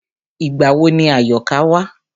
Ìgbà wo ni Àyọ̀ká wá?